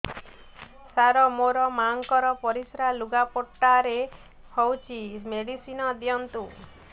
ସାର ମୋର ମାଆଙ୍କର ପରିସ୍ରା ଲୁଗାପଟା ରେ ହଉଚି ମେଡିସିନ ଦିଅନ୍ତୁ